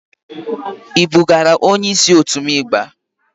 I bugara onye isi òtu m igba?